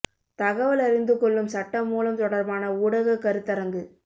தகவல் அறிந்து கொள்ளும் சட்ட மூலம் தொடர்பான ஊடக கருத்தரங்கு